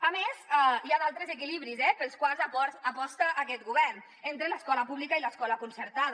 a més hi ha d’altres equilibris pels quals aposta aquest govern entre l’escola pública i l’escola concertada